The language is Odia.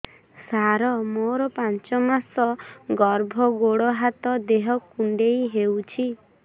ସାର ମୋର ପାଞ୍ଚ ମାସ ଗର୍ଭ ଗୋଡ ହାତ ଦେହ କୁଣ୍ଡେଇ ହେଉଛି